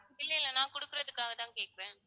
இல்லை இல்லை நான் கொடுக்குறதுக்காகத்தான் கேட்கிறேன்